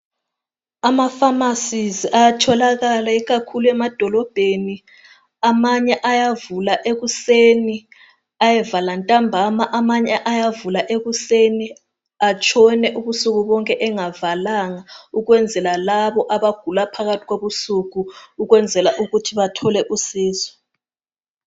Amafamasi ayatholakala ikakhulu emadolobheni. Amanye ayavula ekuseni ayevala ntambama kukhona angavaliyo ukwenzela labo abagula ebusuku bathole usizo